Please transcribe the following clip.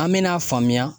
An me n'a faamuya